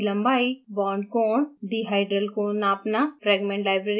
bond की लम्बाई bond कोण डीहाइड्रल कोण नापना